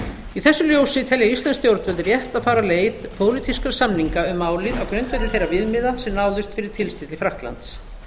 í þessu ljósi telja íslensk stjórnvöld rétt að fara leið pólitískra samninga um málið á grundvelli þeirra viðmiða sem náðust fyrir tilstilli frakklands